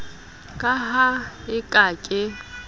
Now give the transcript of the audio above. ka ha e ka ke